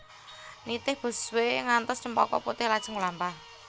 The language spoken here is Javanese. Nitih busway ngantos Cempaka Putih lajeng mlampah